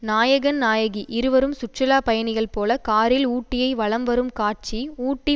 நாயகன் நாயகி இருவரும் சுற்றுலா பயணிகள் போல காரில் ஊட்டியை வலம் வரும் காட்சி ஊட்டி